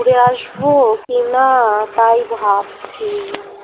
ঘুরে আসবো কি না তাই ভাবছি